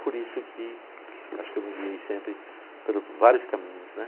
Por isso que, acho que eu me guiei sempre por vários caminhos, né?